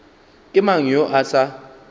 ke mang yo a sa